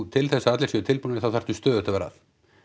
til þess að allir séu tilbúnir þá þarftu stöðugt að vera að